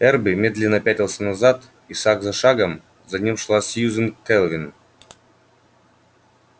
эрби медленно пятился назад и шаг за шагом за ним шла сьюзен кэлвин